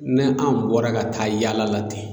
N'a anw bɔra ka taa yaala la ten